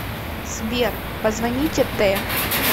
сбер позвоните т